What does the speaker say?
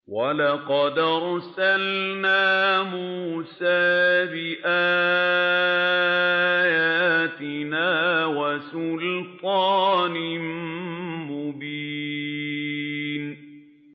وَلَقَدْ أَرْسَلْنَا مُوسَىٰ بِآيَاتِنَا وَسُلْطَانٍ مُّبِينٍ